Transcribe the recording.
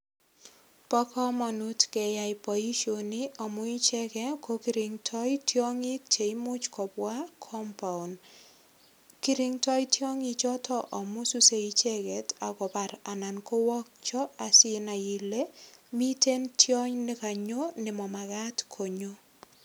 Bo kamanut keyai boisioni amu icheget ko kirindoi tiongik che imuch kobwa compound. Kiringdoi tiongi choto amu suse icheget ak kobar ana kowokcho asinai ile miten tiony nekanyo ne mamagat konyo.